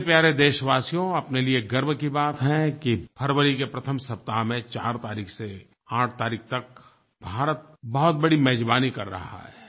मेरे प्यारे देशवासियो अपने लिए गर्व की बात है कि फ़रवरी के प्रथम सप्ताह में 4 तारीख़ से 8 तारीख़ तक भारत बहुत बड़ी मेज़बानी कर रहा है